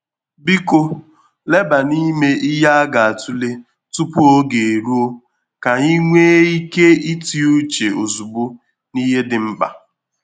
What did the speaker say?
Biko leba n'ime ihe a ga-atụle tupu oge eruo, ka anyị nwee ike ịti uche ozugbo n’ihe dị mkpa.